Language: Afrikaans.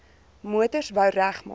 motors wou regmaak